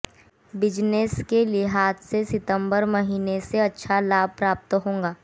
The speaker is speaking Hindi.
बिज़नेस के लिहाज़ से सितंबर महीने से अच्छा लाभ प्राप्त होगा